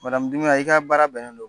i ka baara bɛnnen don